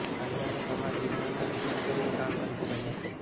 કાયદા અને સમાજવિજ્ઞાનના નિષ્ણાતો એ કામ કરી જ રહ્યા છે